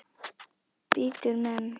Bítur menn?